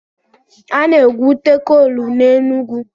Ana-egwute kool n'Enugwu.